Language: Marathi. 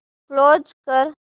क्लोज कर